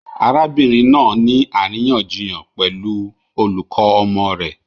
Arabinrin naa ni ariyanjiyan pẹlu olukọ ọmọ rẹ